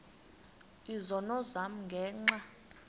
izono zam ngenxa